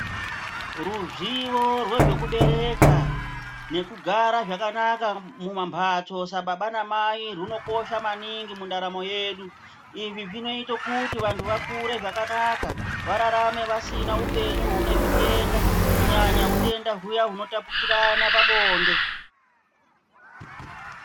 Rizviyo rwezvekubereka nekugara zvakanaka mumamphatso sababa namai rwunokosha naningi mundaramo yedu. Izvi zvinoite kuti vantu vakure zvakanaka vararame vasina upenyu hune zvitenda kunyanya utenda huyana hunotapukirana pabonde.